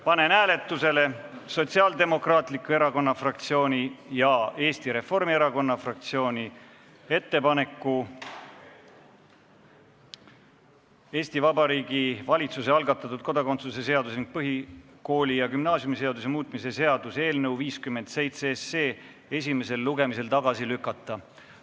Panen hääletusele Sotsiaaldemokraatliku Erakonna fraktsiooni ja Eesti Reformierakonna fraktsiooni ettepaneku Eesti Vabariigi valitsuse algatatud kodakondsuse seaduse ning põhikooli- ja gümnaasiumiseaduse muutmise seaduse eelnõu esimesel lugemisel tagasi lükata.